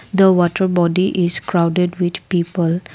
the water body is crowded with people.